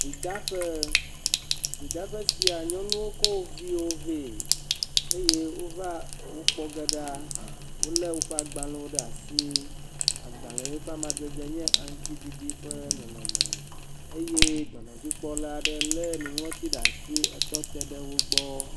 Vidaƒe. vidaƒe sia nyɔnuwo ko wo viwo vɛ eye wova wo kpɔge ɖa. Wo le woƒe agbalewo ɖe asi. Agbale yiwo ƒe amadede nye aŋtsiɖiɖi ƒe nɔnɔme eye dɔnɔdzikpɔla aɖe le nuŋlɔtsi ɖe asi etɔ te ɖe wo gbɔ.